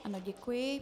Ano, děkuji.